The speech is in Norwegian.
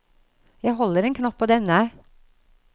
Jeg holder en knapp på denne.